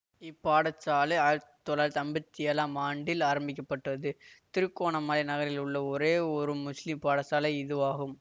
இப்பாடசாலை ஆயிரத்தி தொள்ளாயிரத்தி ஐம்பத்தி ஏழாம் ஆண்டில் ஆரம்பிக்க பட்டது திருகோணமலை நகரில் உள்ள ஒரே ஒரு முஸ்லிம் பாடசாலை இதுவாகும்